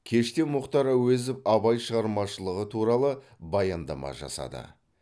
кеште мұхтар әуезов абай шығармашылығы туралы баяндама жасады